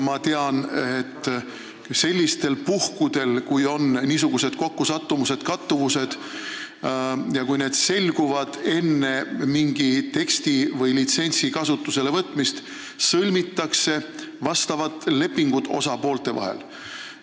Ma tean, et sellistel puhkudel, kui on niisugused kokkusattumused või kattuvused ja kui need on selgunud enne mingi teksti või litsentsi kasutusele võtmist, siis sõlmitakse osapoolte vahel leping.